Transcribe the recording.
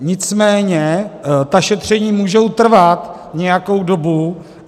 Nicméně ta šetření můžou trvat nějakou dobu.